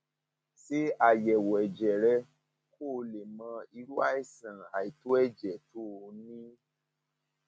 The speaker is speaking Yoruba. ṣe àyẹwò ẹjẹ rẹ kó o lè mọ irú àìsàn àìtó ẹjẹ tó um o ní ní